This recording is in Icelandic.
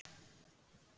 Kant er á öðru máli.